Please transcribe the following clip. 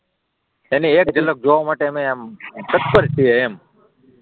એની એક જલક જોવા માટે અમે આમ તત્પર છીએ એમ,